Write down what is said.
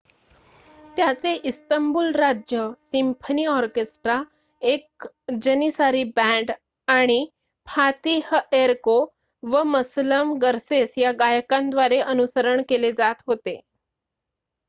त्याचे इस्तंबूल राज्य symphony orchestra एक जनिसारी बँड आणि फातिहएर्को व मसलम गर्सेस या गायकांद्वारे अनुसरण केले जात होते